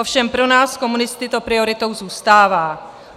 Ovšem pro nás komunisty to prioritou zůstává.